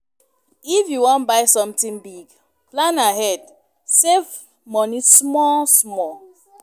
If you wan buy sometin big, plan ahead, save moni small small.